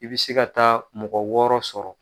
I bi se ka taa mɔgɔ wɔɔrɔ sɔrɔ.